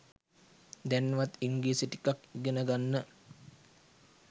දැන්වත් ඉංග්‍රීසි ටිකක් ඉගෙන ගන්න.